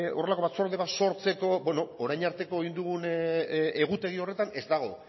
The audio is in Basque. horrelako batzorde bat sortzeko bueno orain arteko egin dugun egutegi horretan ez dago